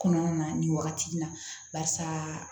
Kɔnɔna na nin wagati in na barisa